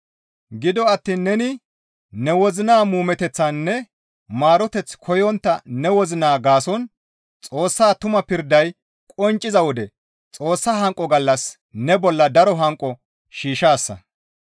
Gido attiin neni ne wozina muumeteththaninne maaroteth koyontta ne wozina gaason Xoossaa tuma pirday qoncciza wode Xoossa hanqo gallassas ne bolla daro hanqo shiishshaasa.